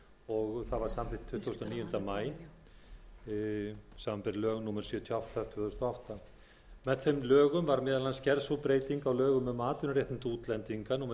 og það var samþykkt tuttugasta og níunda maí síðastliðinn samanber lög númer sjötíu og átta tvö þúsund og átta með þeim lögum var meðal annars gerð sú breyting á lögum um atvinnuréttindi útlendinga númer níutíu og